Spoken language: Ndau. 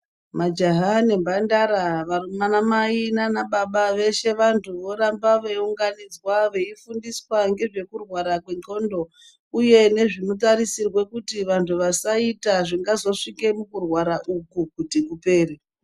Majaya nemhandara, vanamai nanababa weshe vantu vorambe weyiunganidzwa weyifundiwa ngezvekurwara kwen'ongo uye nezvinotarisirwe kuti vantu vasazoita zvingazvosvika kuti kurwara uku kuti kupere.